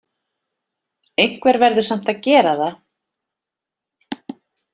Einhver verður samt að gera það!